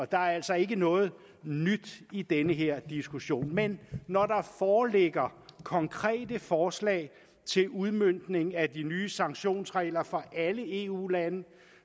der er altså ikke noget nyt i den her diskussion men når der foreligger konkrete forslag til udmøntning af de nye sanktionsregler for alle eu lande